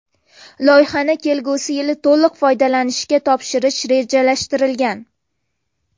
Loyihani kelgusi yili to‘liq foydalanishga topshirish rejalashtirilgan.